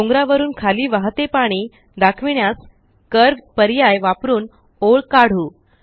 डोंगरावरून खाली वाहते पाणी दाखविण्यास कर्व्ह पर्याय वापरून ओळ काढू